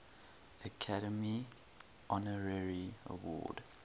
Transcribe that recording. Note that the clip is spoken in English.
academy honorary award